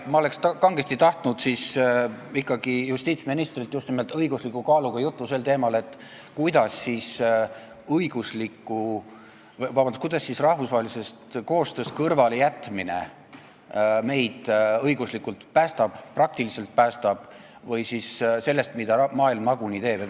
Ma oleks kangesti tahtnud ikkagi justiitsministrilt just nimelt õigusliku kaaluga juttu sel teemal, kuidas siis rahvusvahelisest koostööst kõrvalejätmine meid õiguslikult päästab, praktiliselt päästab või päästab sellest, mida maailm nagunii teeb.